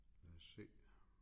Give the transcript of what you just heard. Lad os se